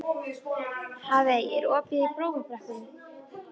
Hafey, er opið í Blómabrekku?